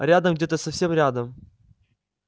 рядом где-то совсем рядом